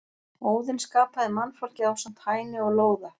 Óðinn skapaði mannfólkið ásamt Hæni og Lóða.